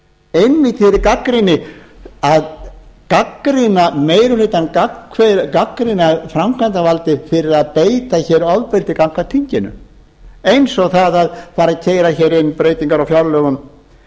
einmitt í þeirri gagnrýni að gagnrýna meiri hlutann gagnrýna framkvæmdarvaldið fyrir að beita hér ofbeldi gagnvart þinginu eins og það að fara að keyra hér inn breytingar á fjárlögum